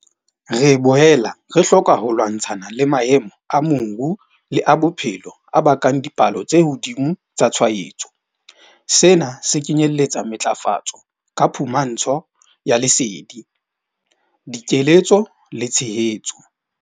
Re boela re hloka ho lwantshana le maemo a moru le a bophelo a bakang dipalo tse hodimo tsa tshwaetso. Sena se kenyeletsa matlafatso ka phumantsho ya lesedi, dikeletso le tshehetso.